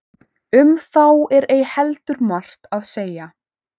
um þá er ei heldur margt að segja